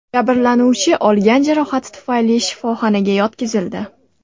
Jabrlanuvchi olgan jarohati tufayli shifoxonaga yotqizildi.